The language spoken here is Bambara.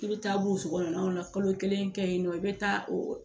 I bɛ taa burusi kɔnɔ naw la kalo kelen kɛ yen nɔ i bɛ taa